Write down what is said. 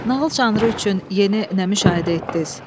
Nağıl janrı üçün yeni nə müşahidə etdiniz?